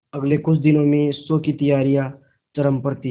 अगले कुछ दिनों में शो की तैयारियां चरम पर थी